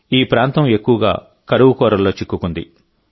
ఈ ప్రాంతం ఎక్కువగా కరువు కోరల్లో చిక్కుకుంది